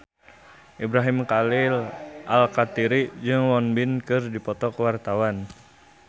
Ibrahim Khalil Alkatiri jeung Won Bin keur dipoto ku wartawan